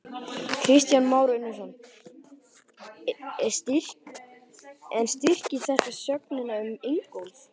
Kristján Már Unnarsson: En styrkir þetta sögnina um Ingólf?